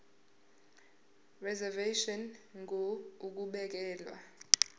reservation ngur ukubekelwa